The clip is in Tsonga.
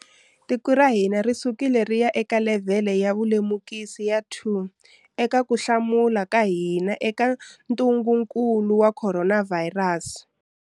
Tiko ra hina ri sukile ri ya eka levhele ya vulemukisi ya 2 eka ku hlamula ka hina eka ntungukulu wa khoronavhayirasi.